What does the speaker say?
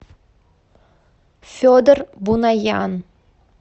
федор бунаян